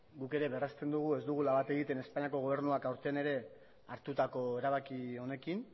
guk ere berrezten dugu ez dugula bat egiten espainiako gobernuak aurten ere hartutako erabaki honekin